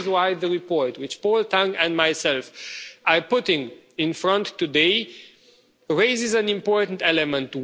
This is why the report which Paul Tang and myself are putting in front of you today raises an important element.